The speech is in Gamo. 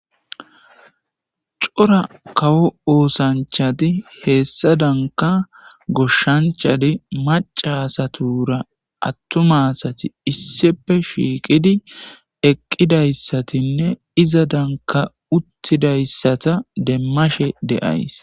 cora kawo oosanchadi heessa danka goshshanchadi macasatura attumasati issipe shiiqidi eqqidayssatinne iza danka uttidayssata demmashe de7ays